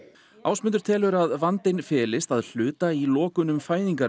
Ásmundur telur að vandinn felist að hluta í lokunum